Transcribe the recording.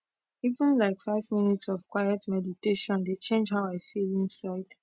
even like five minutes of quiet meditation dey change how i feel inside